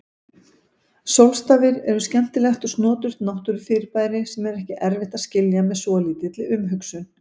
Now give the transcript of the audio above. Sólstafir eru skemmtilegt og snoturt náttúrufyrirbæri sem er ekki erfitt að skilja með svolítilli umhugsun.